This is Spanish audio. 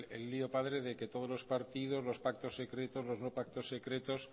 el lío padre de que todos los partidos los pactos secretos los no pactos secretos